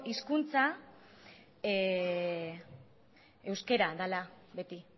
hizkuntza euskera dela beti